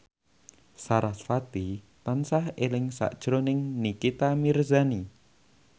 sarasvati tansah eling sakjroning Nikita Mirzani